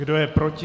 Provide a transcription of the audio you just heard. Kdo je proti?